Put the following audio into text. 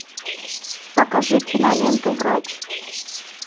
покажи киноленту врач